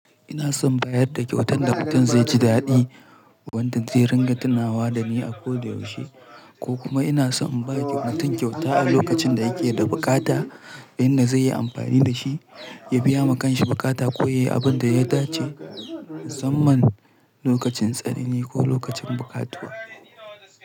Ina son bayar da kyautar da mutum zai ji daɗi, wanda zai ringa tunawa da ni a koda yaushe, ko kuma ina so in ba kyautar kyauta a lokacin da yake da bukata, inda zai yi amfani da shi, ya biya makanshi bukata ko ya yi abin da ya dace, zan man lokacin tsanini ko lokacin bukatuwa.